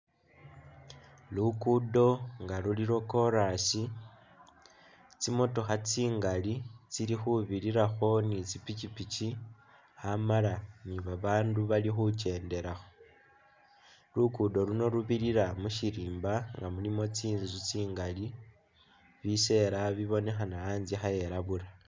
Luguudo nga luli lwa kolas, tsimotokha tsingali tsili khubirirakho ni tsipipiki amala ni babaandu bali khukendelakho. Luguudo luno lubirira mu syirimba nga mulimu tsinzu tsingali, bisela bibonekhana anzye khaelabula.